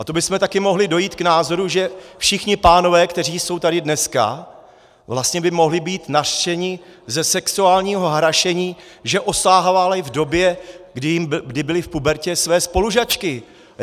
A to bychom také mohli dojít k názoru, že všichni pánové, kteří jsou tady dneska, vlastně by mohli být nařčeni ze sexuálního harašení, že osahávali v době, kdy byli v pubertě, své spolužačky.